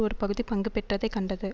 ஒரு பகுதி பங்கு பெற்றதை கண்டது